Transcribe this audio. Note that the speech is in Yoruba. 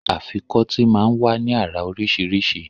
Afikọ́tì máa ń wá ní àrà oríṣiríṣi